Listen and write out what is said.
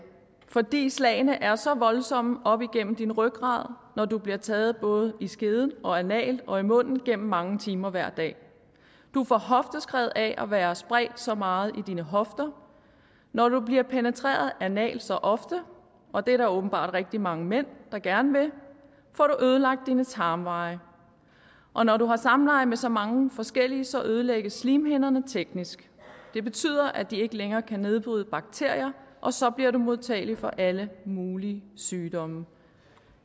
fordi slagene er så voldsomme op igennem din rygrad når du bliver taget både i skeden og analt og i munden gennem mange timer hver dag du får hofteskred af at være spredt så meget i dine hofter når du bliver penetreret analt så ofte og det er der åbenbart rigtig mange mænd der gerne vil får du ødelagt dine tarmveje og når du har samleje med så mange forskellige så ødelægges slimhinderne teknisk det betyder at de ikke længere kan nedbryde bakterier og så bliver du modtagelig for alle mulige sygdomme